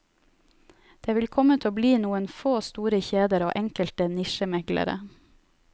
Det vil komme til å bli noen få store kjeder og enkelte nisjemeglere.